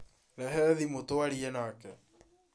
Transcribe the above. Rehe thimũ twarie nake